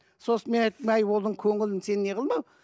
сосын мен айттым әй оның көңілін сен не қылма